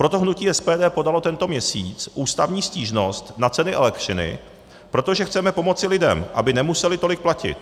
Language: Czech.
Proto hnutí SPD podalo tento měsíc ústavní stížnost na ceny elektřiny, protože chceme pomoci lidem, aby nemuseli tolik platit.